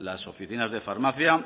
las oficinas de farmacia